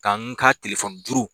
K'an ka telefɔni juru.